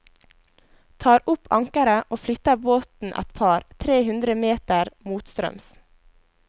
Tar opp ankeret og flytter båten et par, tre hundre meter motstrøms.